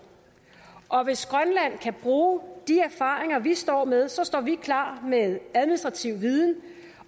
og hvis grønland kan bruge de erfaringer vi står med så står vi klar med administrativ viden